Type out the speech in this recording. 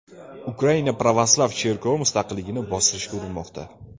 Ukraina pravoslav cherkovi mustaqilligini bostirishga urinmoqda.